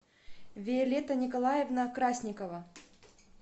виолетта николаевна красникова